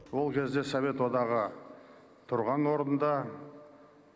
ол кезде совет одағы тұрған орнында